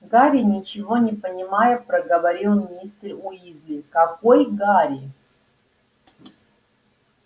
гарри ничего не понимая проговорил мистер уизли какой гарри